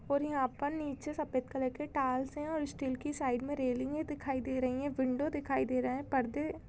--और यहा पे नीचे सफ़ेद कलर के टाइल्स है और स्टील की साइड में रेलिंग दिखाई दे रही है विंडो दिखाई दे रहा है परदे--